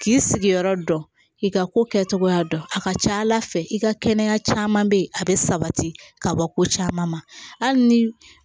K'i sigiyɔrɔ dɔn k'i ka ko kɛcogoya dɔn a ka ca ala fɛ i ka kɛnɛya caman bɛ yen a bɛ sabati ka bɔ ko caman ma hali ni